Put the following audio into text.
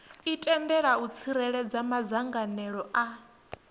itela u tsireledza madzangalelo a